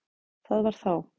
Það var þá